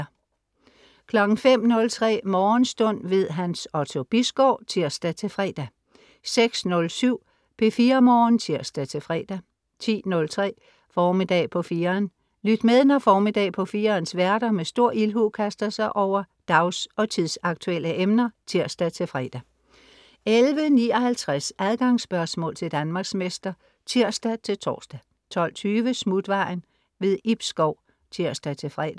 05.03 Morgenstund. Hans Otto Bisgaard (tirs-fre) 06.07 P4 Morgen (tirs-fre) 10.03 Formiddag på 4'eren. Lyt med, når Formiddag på 4'erens værter med stor ildhu kaster sig over dags og tidsaktuelle emner (tirs-fre) 11.59 Adgangsspørgsmål til Danmarksmester (tirs-tors) 12.20 Smutvejen. Ib Schou (tirs-fre)